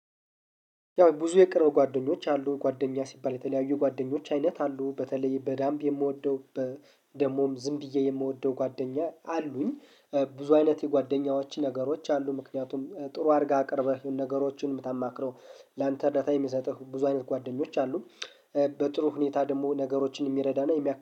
ያው ብዙ የቅርብ ጓደኞች አሉ ጓደኛ ሲባል የተለያዩ ጓደኞች አይነት አሉ በተለይ በዳምብ የምወደው ደግሞም ዝም ብዬ የምወደው ጓደኛ አሉኝ። ብዙ አይነት የጓደኛዎች ነገሮች አሉ ምክንያቱም ጥሩ አድርገህ አቅርበህ ነገሮችን የምታማክረው ላንተ እርዳታ የምትሰጥህ ብዙ አይነት ጓደኞች አሉ። በጥሩ ሁኔታ ደግሞ ነገሮችን የሚረዳና የሚያክል